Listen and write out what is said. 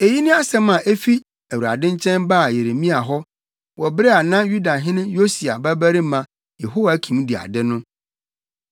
Eyi ne asɛm a efi Awurade nkyɛn baa Yeremia hɔ wɔ bere a na Yudahene Yosia babarima Yehoiakim di ade no: